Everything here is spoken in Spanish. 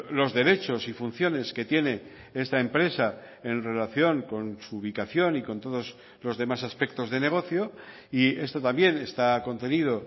los derechos y funciones que tiene esta empresa en relación con su ubicación y con todos los demás aspectos de negocio y esto también está contenido